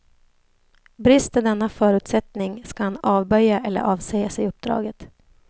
Brister denna förutsättning, skall han avböja eller avsäga sig uppdraget.